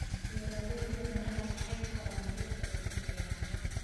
Beeralayda miraha waxay koraan dhirta ugu fiican.